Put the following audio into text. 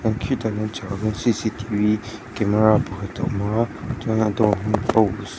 chuan khitah khian a chhak ah khian camera pakhat a awm a chuan a dawr hming paws.